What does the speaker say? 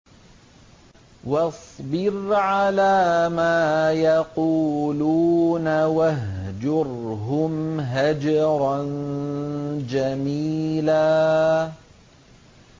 وَاصْبِرْ عَلَىٰ مَا يَقُولُونَ وَاهْجُرْهُمْ هَجْرًا جَمِيلًا